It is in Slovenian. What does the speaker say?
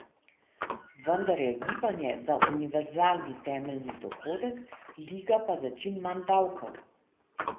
Vendar je Gibanje za univerzalni temeljni dohodek, Liga pa za čim manj davkov.